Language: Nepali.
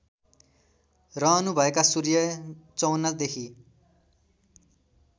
रहनुभएका सूर्य ०५४देखि